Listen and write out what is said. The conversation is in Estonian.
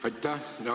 Aitäh!